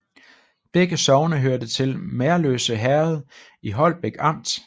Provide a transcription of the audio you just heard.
Begge sogne hørte til Merløse Herred i Holbæk Amt